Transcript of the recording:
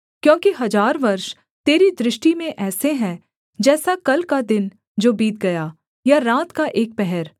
क्योंकि हजार वर्ष तेरी दृष्टि में ऐसे हैं जैसा कल का दिन जो बीत गया या रात का एक पहर